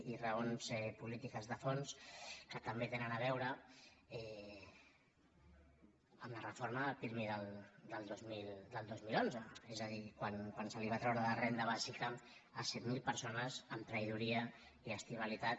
i raons polítiques de fons que també tenen a veure amb la reforma del pirmi del dos mil onze és a dir quan se’ls va treure la renda bàsica a set mil persones amb traïdoria i estivalitat